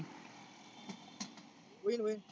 होईल होईल.